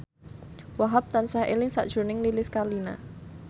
Wahhab tansah eling sakjroning Lilis Karlina